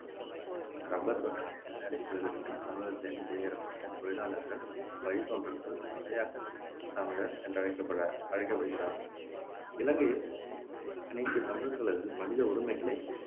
இரப்பர் தோட்டங்களில் வேலை செய்வதற்கெனத் தமிழகத்திலிருந்து குடியேற்றப்பட்ட தொழிலாளர்களின் வழித்தோன்றல்கள் மலையகத் தமிழர் என்றழைக்கப்பட அழைக்கப்படுகிறார்கள் இலங்கையில் அனைத்துத் தமிழர்களது மனித உரிமைகளை